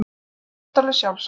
Það þótti alveg sjálfsagt.